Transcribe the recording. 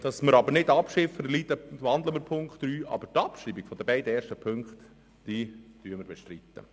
Um eine Niederlage zu vermeiden, wandeln wir den Punkt 3, aber die Abschreibung der beiden ersten Punkte bestreiten wir.